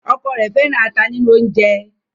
ọkọ rẹ fẹràn ata nínú oúnjẹ.